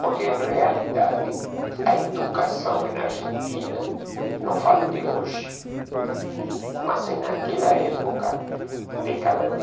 Porque, em realidade, a educação na Argentina, não falo de hoje, mas em naquela época, década de...